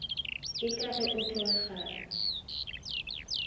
ee ka ge o tlokgahlale